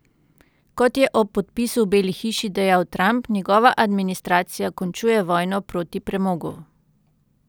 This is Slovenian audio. Kot je ob podpisu v Beli hiši dejal Trump, njegova administracija končuje vojno proti premogu.